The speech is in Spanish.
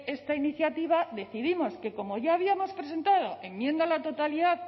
esta iniciativa decidimos que como ya habíamos presentado enmienda a la totalidad